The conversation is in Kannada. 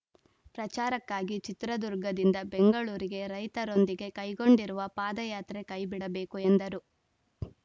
ಪ್ರಚಾರಕ್ಕಾಗಿ ಚಿತ್ರದುರ್ಗದಿಂದ ಬೆಂಗಳೂರಿಗೆ ರೈತರೊಂದಿಗೆ ಕೈಗೊಂಡಿರುವ ಪಾದಯಾತ್ರೆ ಕೈಬಿಡಬೇಕು ಎಂದರು